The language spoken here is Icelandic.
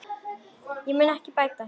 Það mun ég bæta þér.